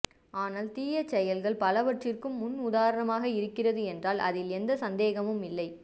ஆனால் தீய செயல்கள் பலவற்றிற்கும் முன் உதாரணமாக இருக்கிறது என்றால் அதில் சந்தேகமும் இல்லை